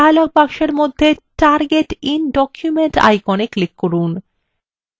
dialog বক্সের মধ্যে target in document icon এ click করুন